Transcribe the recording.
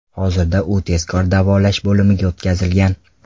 Hozirda u tezkor davolash bo‘limiga o‘tkazilgan.